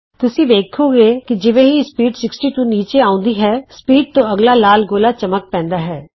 ਤੁਸੀਂ ਵੇਖੋਂਗੇ ਕਿ ਜਿਵੇਂ ਹੀ ਸਪੀਡ 60 ਤੋਂ ਨੀਚੇ ਆਉਂਦੀ ਹੈ ਸਪੀਡ ਤੋਂ ਅੱਗਲਾ ਲਾਲ ਗੋਲਾ ਚਮਕ ਪੈਂਦਾ ਹੈ